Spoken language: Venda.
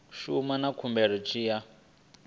shumana na khumbelo tshi ya